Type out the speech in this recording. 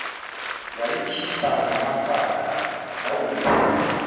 wayikhipha ngamakhala yawumphusho